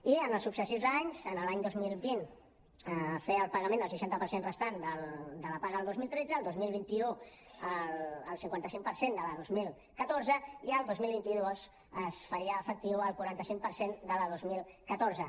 i en els successius anys l’any dos mil vint fer el pagament del seixanta per cent restant de la paga del dos mil tretze el dos mil vint u el cinquanta cinc per cent de la de dos mil catorze i el dos mil vint dos es faria efectiu el quaranta cinc per cent de la de dos mil catorze